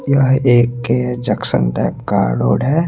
यह एक junction type का रोड है।